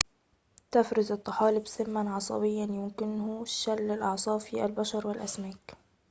تفرز الطحالب سماً عصبياً يمكنه شل الأعصاب في البشر والأسماك